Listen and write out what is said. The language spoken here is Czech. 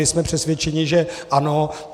My jsme přesvědčeni, že ano.